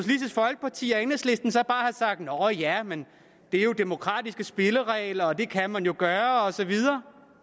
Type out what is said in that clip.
folkeparti og enhedslisten så bare have sagt nå ja men det er jo demokratiske spilleregler og det kan man jo gøre og så videre